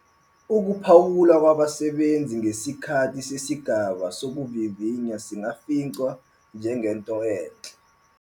Ukuphawula kwabasebenzi ngesikhathi sesigaba sokuvivinya singafinqwa njengento enhle.